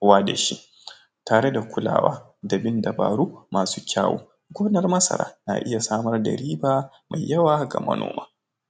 wa da shi tare da kulawa da bin dabaru masu kyawu gonar masara na iya samar da riba mai yawa ga manoma.